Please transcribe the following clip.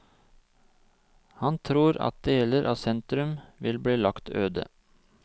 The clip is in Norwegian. Han tror at deler av sentrum vil bli lagt øde.